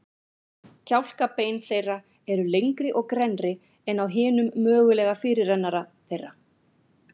Kjálkabein þeirra eru lengri og grennri en á hinum mögulega fyrirrennara þeirra.